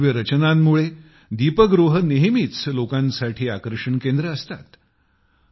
त्याच्या भव्य रचनांमुळे दीपगृहे नेहमीच लोकांसाठी आकर्षण केंद्र असतात